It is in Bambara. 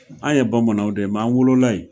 An ye Bamanan de ye nk'an wolo la yen!